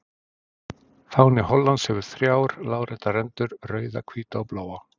Fáni Hollands hefur þrjár láréttar rendur, rauða, hvíta og bláa.